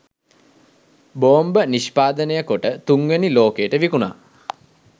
බෝම්බ නිෂ්පාදනය කොට තුන්වෙනි ලෝකයට විකුනා